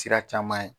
Sira caman ye